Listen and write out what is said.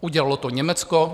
Udělalo to Německo.